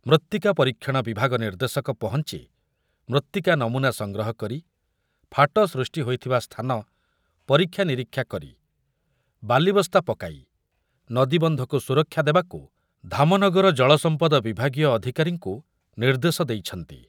ମୃତ୍ତିକା ପରୀକ୍ଷଣ ବିଭାଗ ନିର୍ଦ୍ଦେଶକ ପହଞ୍ଚି ମୃତ୍ତିକା ନମୁନା ସଂଗ୍ରହ କରି ଫାଟ ସୃଷ୍ଟି ହୋଇଥିବା ସ୍ଥାନ ପରୀକ୍ଷା ନିରୀକ୍ଷା କରି ବାଲିବସ୍ତା ପକାଇ ନଦୀବନ୍ଧକୁ ସୁରକ୍ଷା ଦେବାକୁ ଧାମନଗର ଜଳସମ୍ପଦ ବିଭାଗୀୟ ଅଧିକାରୀଙ୍କୁ ନିର୍ଦ୍ଦେଶ ଦେଇଛନ୍ତି।